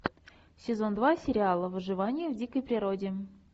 сезон два сериала выживание в дикой природе